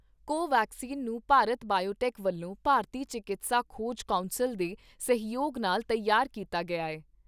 ਕੋ ਵੈਕਸੀਨ ਨੂੰ ਭਾਰਤ ਬਾਇਓਟੈਕ ਵਲੋਂ ਭਾਰਤੀ ਚਿਕਿਤਸਾ ਖੋਜ ਕੌਂਸਲ ਦੇ ਸਹਿਯੋਗ ਨਾਲ ਤਿਆਰ ਕੀਤਾ ਗਿਆ ਏ।